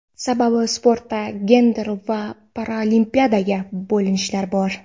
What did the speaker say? Sababi sportda gender va paraolimpiadaga bo‘linishlar bor.